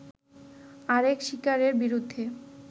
আরেক শিকারের বিরুদ্ধে